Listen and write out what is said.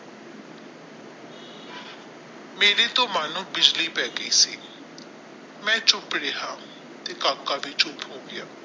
ਮੇਰੇ ਤੋਂ ਮਾਨੋ ਬਿਜਲੀ ਪੈ ਗਈ ਸੀ ਮੈ ਚੁੱਪ ਰਿਹਾ ਤੇ ਕਾਕਾ ਵੀ ਚੁੱਪ ਹੋ ਗਿਆ।